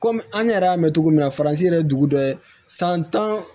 Kɔmi an yɛrɛ y'a mɛn cogo min na faransi yɛrɛ ye dugu dɔ ye san tan